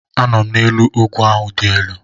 Anọ m n'elu ugwu ahụ dị elu